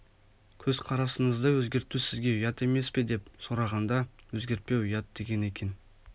көзқарасыңызды өзгерту сізге ұят емес пе деп сұрағанда өзгертпеу ұят деген екен